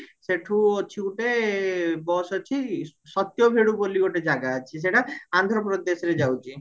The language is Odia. ସେଠୁ ଅଛି ଗୋଟେ bus ଅଛି ସତ୍ୟଭେଡ଼ୁ ବୋଲି ଗୋଟେ ଜାଗା ଅଛି ସେଟା ଆନ୍ଧ୍ରପ୍ରଦେଶରେ ଯାଉଚି